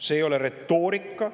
See ei ole retoorika.